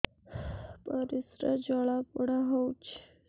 ପରିସ୍ରା ଜଳାପୋଡା ହଉଛି